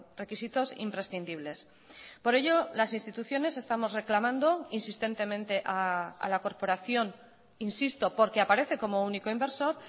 requisitos imprescindibles por ello las instituciones estamos reclamando insistentemente a la corporación insisto porque aparece como único inversor